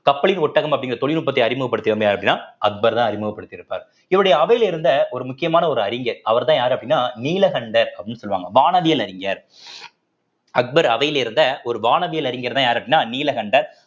கப்பலின் ஒட்டகம் அப்படிங்கிற தொழில்நுட்பத்தை அறிமுகப்படுத்தியவுங்க யார் அப்படின்னா அக்பர்தான் அறிமுகப்படுத்தி இருப்பார் இவருடைய அவையில் இருந்த ஒரு முக்கியமான ஒரு அறிஞர் அவர்தான் யாரு அப்படின்னா நீலகண்டர் அப்படின்னு சொல்லுவாங்க வானவியல் அறிஞர் அக்பர் அவையில் இருந்த ஒரு வானவியல் அறிஞர்தான் யாரு அப்படின்னா நீலகண்டர்